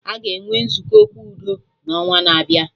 Aga enwe Nzukọ Okwu udo na onwa na-abịa